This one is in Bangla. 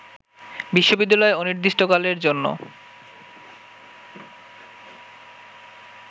বিশ্ববিদ্যালয়ে অনির্দিষ্টকালের জন্য